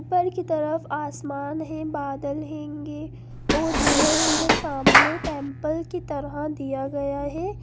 ऊपर की तरफ असमान है बादल हंगे और बिच में सामने टेम्पल की तरह दिया गया है।